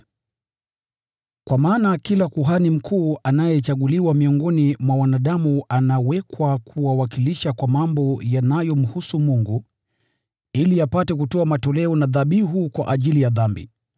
Kwa maana kila kuhani mkuu anayechaguliwa miongoni mwa wanadamu anawekwa kuwawakilisha kwa mambo yanayomhusu Mungu, ili apate kutoa matoleo na dhabihu kwa ajili ya dhambi.